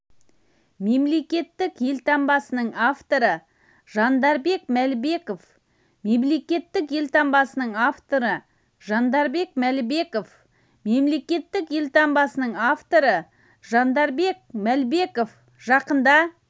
мемлекеттік елтаңбасының авторы жандарбек мәлібеков мемлекеттік елтаңбасының авторы жандарбек мәлібеков мемлекеттік елтаңбасының авторы жандарбек мәлібеков жақында